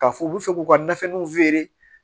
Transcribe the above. K'a fɔ u bɛ fɛ k'u ka nafiniw feere